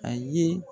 A ye